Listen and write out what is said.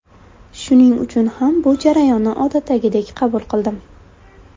Shuning uchun ham bu jarayonni odatdagidek qabul qildim.